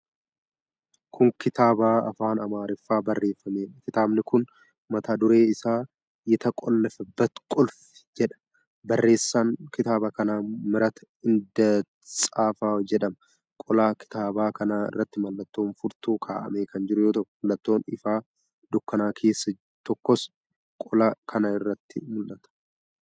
Kun kitaaba afaan Amaariffaan barreeffameedha. Kitaabi kun mata dureen isaa 'Yetaqollafabbat qulfi' jedha. Barreessaan kitaaba kanaa Mihirat Indatsaafaw jedhama. Qola kitaaba kanaa irratti mallattoon furtuu kaa'amee kan jiru yoo ta'u, Mallattooon ifaa dukkana keessaa tokkos qola kana irratti mul'ata.